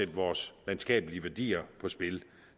vores landskabelige værdier på spil